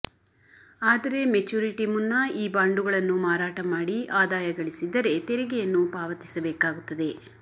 ಆದರೆ ಮೆಚುರಿಟಿ ಮುನ್ನ ಈ ಬಾಂಡುಗಳನ್ನು ಮಾರಾಟ ಮಾಡಿ ಆದಾಯ ಗಳಿಸಿದ್ದರೆ ತೆರಿಗೆಯನ್ನು ಪಾವತಿಸಬೇಕಾಗುತ್ತದೆ